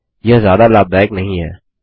यह ज्यादा लाभदायक नहीं है